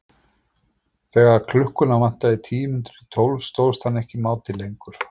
Þegar klukkuna vantaði tíu mínútur í tólf stóðst hann ekki mátið lengur.